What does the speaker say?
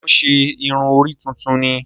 Ṣe wọn ṣe irun orí tuntun ní?